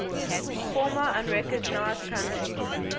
former unrecognized countries